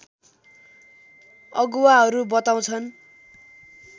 अगुवाहरू बताउँछन्